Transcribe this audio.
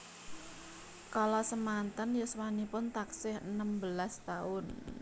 Kala samanten yuswanipun taksih enem belas taun